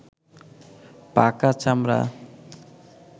পাকা চামড়া